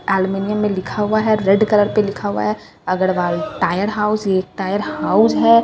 aluminium में लिखा हुआ है रेड कलर पे लिखा हुआ है अग्रवाल टायर हाउस ये एक टायर हाउस है --